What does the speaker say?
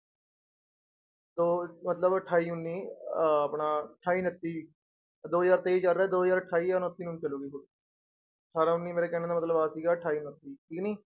ਤੋ ਮਤਲਬ ਅਠਾਈ ਉੱਨੀ ਅਹ ਆਪਣਾ ਅਠਾਈ ਉਣੱਤੀ ਦੋ ਹਜ਼ਾਰ ਤੇਈ ਚੱਲ ਰਿਹਾ, ਦੋ ਹਜ਼ਾਰ ਅਠਾਈ ਜਾਂ ਉਣੱਤੀ ਨੂੰ ਚੱਲੇਗੀ, ਅਠਾਰਾਂ ਉੱਨੀ ਮੇਰੇ ਕਹਿਣ ਦਾ ਮਤਲਬ ਆ ਸੀਗਾ ਅਠਾਈ ਉਣੱਤੀ ਠੀਕ ਨੀ।